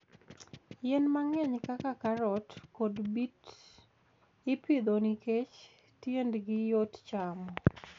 Yien mang'eny kaka karot kod beet ipidho nikech tiendgi yot chamo.